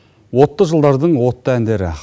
отты жылдардың отты әндері